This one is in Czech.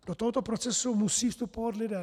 Do tohoto procesu musí vstupovat lidé.